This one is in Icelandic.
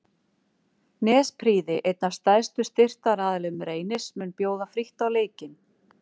Nesprýði einn af stærstu styrktaraðilum Reynis mun bjóða frítt á leikinn.